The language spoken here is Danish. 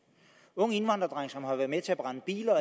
ung indvandrerdreng som har været med til at brænde biler